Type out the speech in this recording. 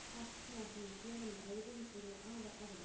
Allt sem við ætlum að gera með öðrum yrði afar erfitt.